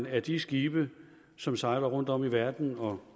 at de skibe som sejler rundtom i verden og